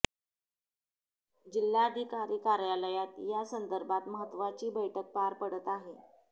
जिल्हाधिकारी कार्यालयात या संदर्भात महत्त्वाची बैठक पार पडत आहे